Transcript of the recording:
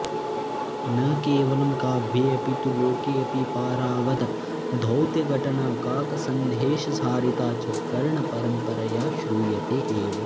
न केवलं काव्येऽपि तु लोकेऽपि पारावतदौत्यघटना काकसन्देशहारिता च कर्णपरम्परया श्रूयते एव